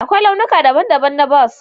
Akwai launuka daban-daban na bas